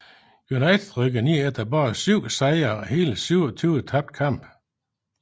United rykkede ned efter bare syv sejre og hele 27 tabte kampe